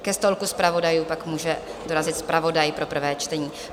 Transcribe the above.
Ke stolku zpravodajů pak může dorazit zpravodaj pro prvé čtení.